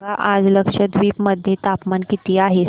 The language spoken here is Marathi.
सांगा आज लक्षद्वीप मध्ये तापमान किती आहे